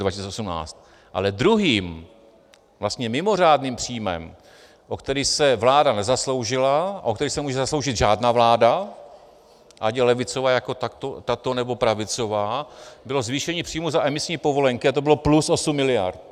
Ale druhým, vlastně mimořádným příjmem, o který se vláda nezasloužila a o který se nemůže zasloužit žádná vláda, ať je levicová jako tato, nebo pravicová, bylo zvýšení příjmů za emisní povolenky a to bylo plus 8 miliard.